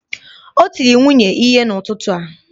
Ọ tiri nwunye ihe n'ụtụtụ a